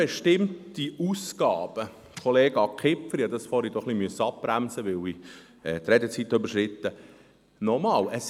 Fremdbestimmte Ausgaben, Kollege Kipfer, ich musste dort vorher abbremsen, weil ich die Redezeit überschritten hatte.